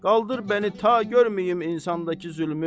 Qaldır məni ta görməyim insandakı zülmü.